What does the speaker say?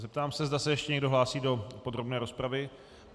Zeptám se, zda se ještě někdo hlásí do podrobné rozpravy?